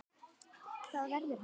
Það verður hann aldrei.